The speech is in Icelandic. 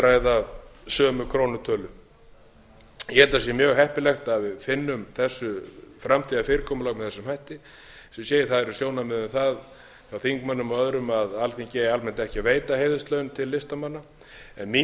ræða sömu krónutölu ég held að sé mjög heppilegt að við finnum þessu framtíðarfyrirkomulag með þessum hætti eins og ég segi það eru sjónarmið um það hjá þingmönnum og öðrum að alþingi eigi almennt ekki að veita heiðurslaun til listamanna en mín